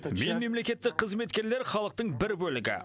мен мемлекеттік қызметкерлер халықтың бір бөлігі